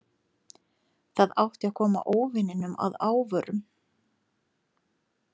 Það átti að koma óvininum að óvörum.